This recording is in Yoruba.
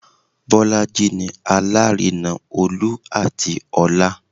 Bolaji ni Alárinà Olú àti ọlá